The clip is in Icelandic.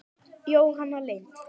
Jóhanna Lind.